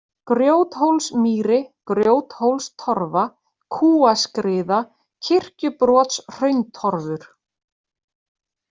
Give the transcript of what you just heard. Grjóthólsmýri, Grjóthólstorfa, Kúaskriða, Kirkjubrotshrauntorfur